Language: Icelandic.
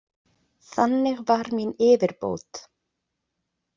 Þannig var mín yfirbót.